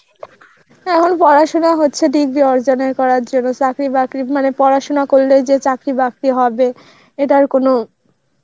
এখন পড়াশোনা হচ্ছে degree অর্জনের করার জন্য চাকরি বাকরি মানে পড়াশোনা করলে যে চাকরি বাকরি হবে এটার কোনো